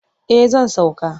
Eh zan sauka.